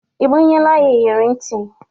Ị gbanyelu ya iyere ntị?